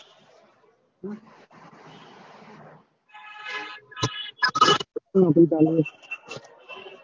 શેની નોકરી ચાલે હે?